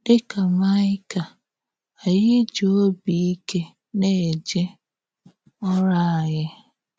Dị ka Maịka, ányị jì òbì ìké na-èjé òrụ̀ ányị.